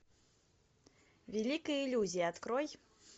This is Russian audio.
великая иллюзия открой